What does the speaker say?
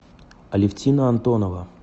алевтина антонова